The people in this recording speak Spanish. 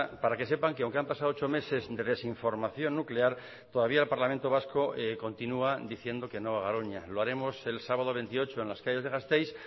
para que sepan que aunque han pasado ocho meses de desinformación nuclear todavía el parlamento vasco continúa diciendo que no a garoña lo haremos el sábado veintiocho en las calles de gasteiz